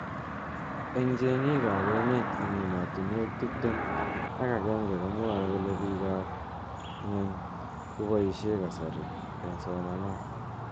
Eng cheng'ik ab emet eng emotunwek tip tem ak agenge komwae kole pik ab ng'unch koboishe kasari eng somanet.